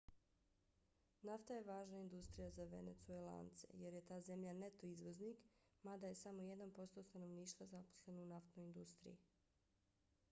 nafta je važna industrija za venecuelance jer je ta zemlja neto izvoznik mada je samo jedan posto stanovništva zaposleno u naftnoj industriji